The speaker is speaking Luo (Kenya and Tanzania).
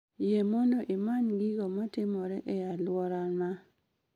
Yie mondo imany gigo matimore e alwora maa